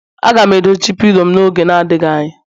Aga m edochi pilo m n'oge adịghị anya